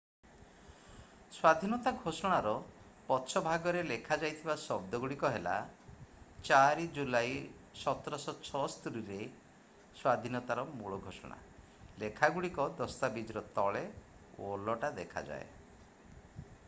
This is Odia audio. ସ୍ଵାଧୀନତା ଘୋଷଣାର ପଛ ଭାଗରେ ଲେଖାଯାଇଥିବା ଶବ୍ଦ ଗୁଡ଼ିକ ହେଲା 4 ଜୁଲାଇ 1776 ରେ ସ୍ଵାଧୀନତାର ମୂଳ ଘୋଷଣା ଲେଖା ଗୁଡ଼ିକ ଦସ୍ତାବିଜର ତଳେ ଓଲଟା ଦେଖାଯାଏ